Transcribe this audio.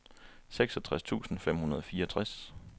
seksogtres tusind fem hundrede og fireogtres